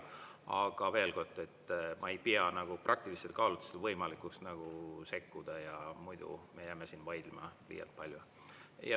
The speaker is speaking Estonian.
Aga veel kord: ma ei pea nagu praktilistel kaalutlustel võimalikuks sekkuda, muidu me jääme siin vaidlema liialt palju.